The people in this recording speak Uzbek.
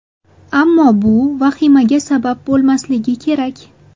Ammo bu ham vahimaga sabab bo‘lmasligi kerak.